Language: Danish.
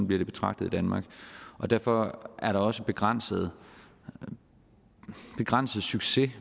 bliver det betragtet i danmark og derfor er der også begrænset begrænset succes